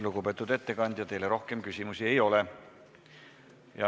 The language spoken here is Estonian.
Lugupeetud ettekandja, teile rohkem küsimusi ei ole.